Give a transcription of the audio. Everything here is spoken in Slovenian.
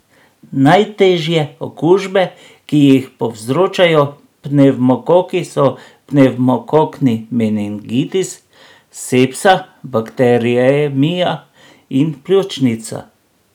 Najtežje okužbe, ki jih povzročajo pnevmokoki, so pnevmokokni meningitis, sepsa, bakteriemija in pljučnica.